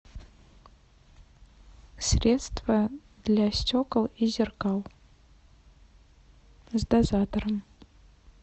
средство для стекол и зеркал с дозатором